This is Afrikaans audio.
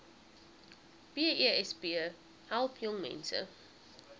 besp help jongmense